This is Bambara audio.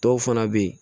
Dɔw fana bɛ yen